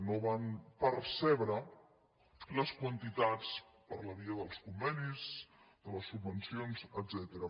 no van percebre les quantitats per la via dels convenis de les subvencions etcètera